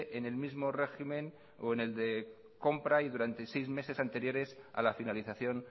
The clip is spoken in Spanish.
en el mismo régimen o en el de compra y durante seis meses anteriores a la finalización